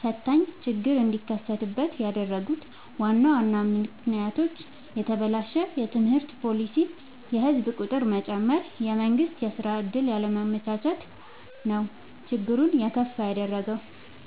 ፈታኝ ችግር እንዲከሰት ያደረጉት ዋና ዋና ምክንያቶች፦ የተበላሸ የትምህርት ፓሊሲ፣ የህዝብ ቁጥር መጨመር፣ የመንግስት የስራ ዕድል ያለማመቻቸት ነው። ችግሩን የከፋ ያደረገው።